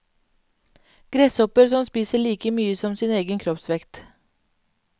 Gresshopper som spiser like mye som sin egen kroppsvekt.